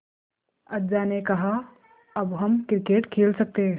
अज्जा ने कहा अब हम क्रिकेट खेल सकते हैं